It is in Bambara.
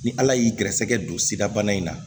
Ni ala y'i gɛrɛsɛgɛ don sidabana in na